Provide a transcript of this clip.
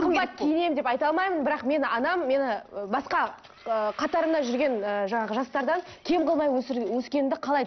қымбат киінемін деп айта алмаймын бірақ мені анам мені ы басқа ыыы қатарымнан жүрген ы жаңағы жастардан кем қылмай өскенімді қалайды